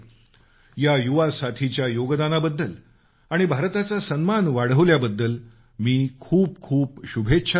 या युवासाथीच्या योगदानाबद्दल आणि भारताचा सन्मान वाढवल्याबद्दल मी खूप खूप शुभेच्छा देतो